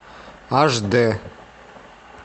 аш д